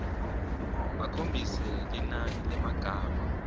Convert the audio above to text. bakhombise linani lemagama